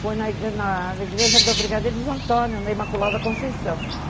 Foi na na igreja do Brigadeiros Antônio, na Imaculada Conceição.